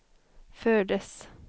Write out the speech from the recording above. fördes